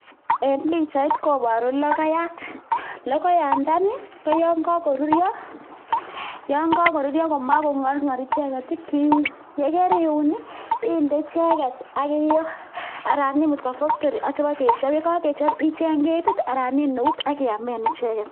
En pichait koboru logoyat. Logoyandani koyon kagoruryo komakong'orng'or icheget kiun. Ye keriun inde icheget ak iyoo anan iib koba factory sibokechop. Ye kagechop icheng ketit anan iun eut ak iamen icheget.